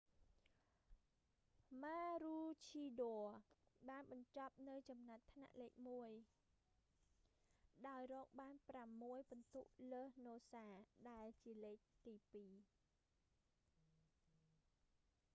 ម៉ារូឈីដ័រ maroochydore បានបញ្ចប់នៅចំណាត់ថ្នាក់លេខមួយ ដោយរកបាន ប្រាំមួយពិន្ទុលើសនូសា noosa ដែលនៅលេខទីពីរ